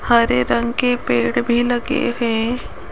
हरे रंग के पेड़ भी लगे हैं।